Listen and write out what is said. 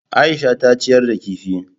Aisha ta ciyar da kifi.